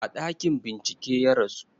A ɗakin bincike ya rasu